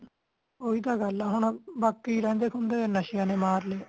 ਓਹੀ ਤਾ ਗੱਲ ਆ ਹੁਣ ਬਾਕੀ ਰਹਿੰਦੇ ਖੁੰਢੇ ਨਸ਼ਿਆਂ ਨੇ ਮਾਰ ਲਯਾ